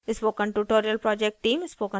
spoken tutorial project team